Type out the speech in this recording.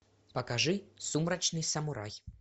покажи сумрачный самурай